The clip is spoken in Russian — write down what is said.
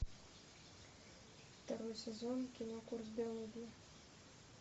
второй сезон кино курс биологии